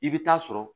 I bɛ taa sɔrɔ